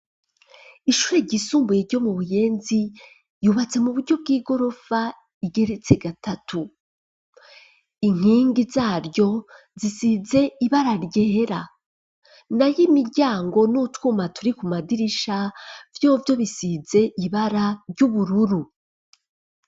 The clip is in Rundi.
Ishure ryisumbuye ryo mu Buyenzi ryubatse mu buryo bw'igorofa igeretse gatatu, inkingi zaryo zisize ibara ryera nayo imiryango n'utwuma turi ku madirisha vyovyo bisize ibara ry'ubururu.